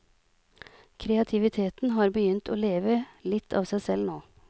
Kreativiteten har begynt å leve litt av seg selv nå.